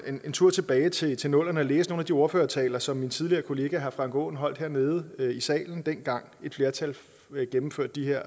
en tur tilbage til til nullerne og læse nogle af de ordførertaler som min tidligere kollega herre frank aaen holdt hernede i salen dengang et flertal gennemførte de her